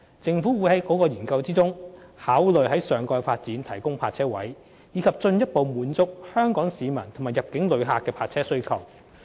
政府會在該研究中考慮在上蓋發展提供泊車位，以進一步滿足香港市民及入境旅客的泊車需要。